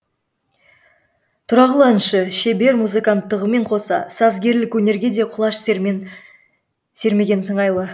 тұрағұл әнші шебер музыканттығымен қоса сазгерлік өнерге де құлаш сермеген сыңайлы